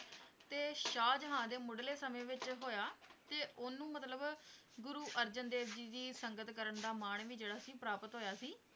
ਤੇ ਸ਼ਾਹਜਹਾਂ ਦੇ ਮੁਢਲੇ ਸਮੇਂ ਵਿੱਚ ਹੋਇਆ ਤੇ ਉਹਨੂੰ ਮਤਲਬ ਗੁਰੂ ਅਰਜਨ ਦੇਵ ਜੀ ਦੀ ਸੰਗਤ ਕਰਨ ਦਾ ਮਾਣ ਵੀ ਜਿਹੜਾ ਸੀ ਪ੍ਰਾਪਤ ਹੋਇਆ ਸੀ।